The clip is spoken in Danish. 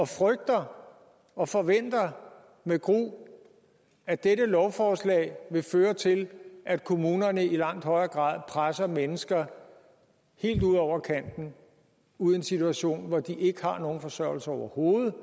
frygter og forventer med gru at dette lovforslag vil føre til at kommunerne i langt højere grad presser mennesker helt ud over kanten ud i en situation hvor de ikke har nogen forsørgelse overhovedet og